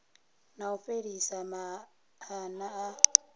na u fhelisa maana a